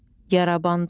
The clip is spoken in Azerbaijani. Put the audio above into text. Yarabandı.